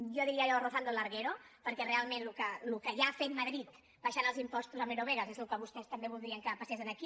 jo diria allò rozando el larguero perquè realment el que allà ha fet madrid abaixant els impostos a eurovegas és el que vostès també voldrien que passes aquí